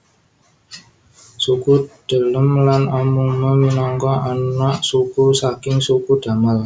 Suku Delem lan Amungme minangka anak suku saking suku Damal